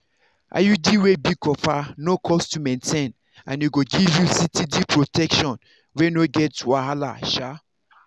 iud wey be copper no cost to maintain and e go give you steady protection wey no get wahala sha.